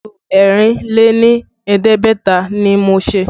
Ipo ẹ̀rìn lé ní ẹ̀ẹ́dẹ́gbẹ̀ta ni mo ṣe